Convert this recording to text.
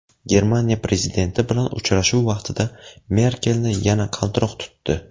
Germaniya prezidenti bilan uchrashuv vaqtida Merkelni yana qaltiroq tutdi .